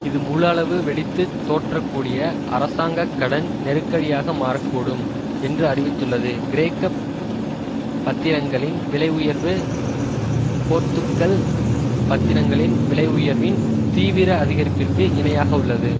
இது முழு அளவு வெடித்து தோற்றக்கூடிய அரசாங்க கடன் நெருக்கடியாக மாற கூடும் என்று அறிவித்துள்ளது கிரேக்க பத்திரங்களின் விலை உயர்வு போர்த்துக்கல் பத்திரங்களின் விலை உயர்வின் தீவிர அதிகரிப்பிற்கு இணையாக உள்ளது